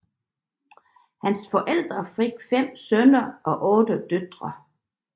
Hans forældre fik fem sønner og otte døtre